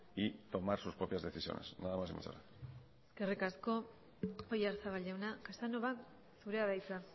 y tomar sus propias decisiones nada más y muchas gracias eskerrik asko oyarzabal jauna casanova zurea da hitza